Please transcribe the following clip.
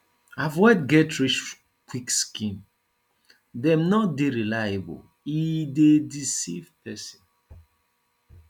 avoid getrichquick scheme dem no dey reliable e dey deceive pesin